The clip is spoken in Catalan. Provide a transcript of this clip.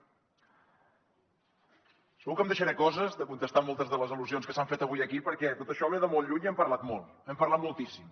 segur que em deixaré coses de contestar moltes de les al·lusions que s’han fet avui aquí perquè tot això ve de molt lluny i n’hem parlat molt n’hem parlat moltíssim